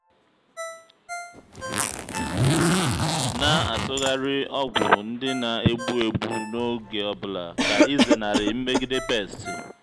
na-atụgharị ọgwụ ndị na-egbu egbu n'oge ọ bụla ka ịzenarị mmegide pesti.